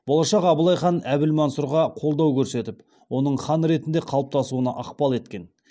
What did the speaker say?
болашақ абылай хан әбілмансұрға қолдау көрсетіп оның хан ретінде қалыптасуына ықпал еткен